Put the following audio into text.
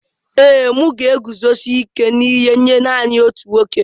Ee, m ga-eguzosi ike n'ihe nye nanị otu nwoke.